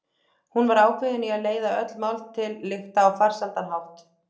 Hún var ákveðin í að leiða öll mál til lykta á farsælan hátt.